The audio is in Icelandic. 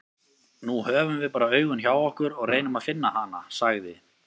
Nú höfum við bara augun hjá okkur og reynum að finna hana, sagði